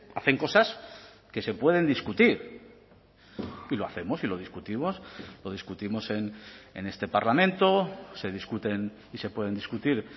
hacen cosas que se pueden discutir y lo hacemos y lo discutimos lo discutimos en este parlamento se discuten y se pueden discutir